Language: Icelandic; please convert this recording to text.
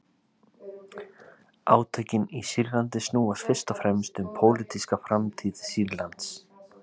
Átökin í Sýrlandi snúast fyrst og fremst um pólitíska framtíð Sýrlands.